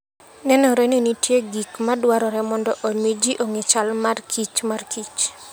Nenore ni nitie gik ma dwarore mondo omi ji ong'e chal mar kich mar kich.